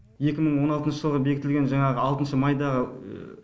екі мың он алтыншы жылы бекітілген жаңағы алтыншы майда